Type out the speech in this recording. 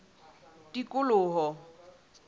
tikoloho